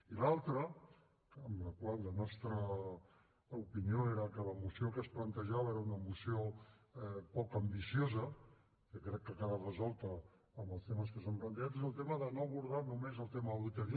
i l’altre en el qual la nostra opinió era que la moció que es plantejava era una moció poc ambiciosa que crec que ha quedat resolta amb els temes que s’han plantejat és el tema de no abordar només el tema de l’auditoria